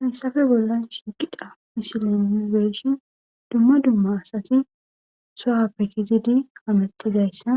hensafe bolla shiqidha mishilen mibeeshin dumma dumma asati soha pekizidi hametizayssa